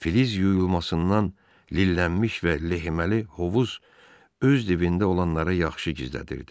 Filiz yuyulmasından lillənmiş və lehiməli hovuz öz dibində olanları yaxşı gizlədirdi.